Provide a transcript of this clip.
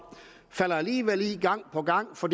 falder alligevel i gang på gang for